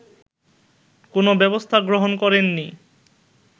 কোনো ব্যবস্থা গ্রহণ করেননি